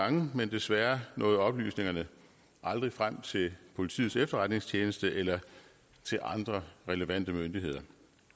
gange men desværre nåede oplysningerne aldrig frem til politiets efterretningstjeneste eller til andre relevante myndigheder det